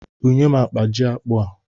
Bunye m akpa ji akpụ a!